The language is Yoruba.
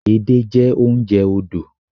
Edé jẹ́ oúnjẹ odò